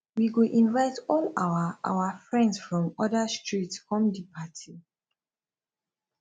we go invite all our our friends from oda street come di party